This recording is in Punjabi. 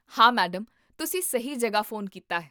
ਹਾਂ, ਮੈਡਮ! ਤੁਸੀਂ ਸਹੀ ਜਗ੍ਹਾ ਫ਼ੋਨ ਕੀਤਾ ਹੈ